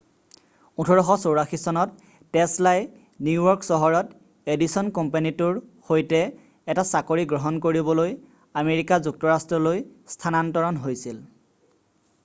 1884 চনত টেছলাই নিউয়ৰ্ক চহৰত এডিছন কোম্পানীটোৰ সৈতে এটা চাকৰি গ্ৰহণ কৰিবলৈ আমেৰিকা যুক্তৰাষ্ট্ৰলৈ স্থানান্তৰণ হৈছিল